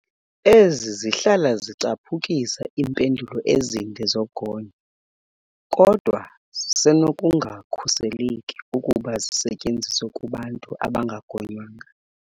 Ezi zihlala zicaphukisa iimpendulo ezinde zogonyo, kodwa zisenokungakhuseleki ukuba zisetyenziswe kubantu abangagonywanga.